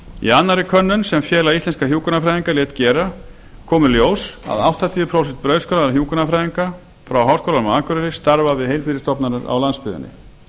í annarri könnun sem félag íslenskra hjúkrunarfræðinga lét gera kom í ljós að áttatíu prósent brautskráðra hjúkrunarfræðinga frá háskólanum á akureyri starfa við heilbrigðisstofnanir á landsbyggðinni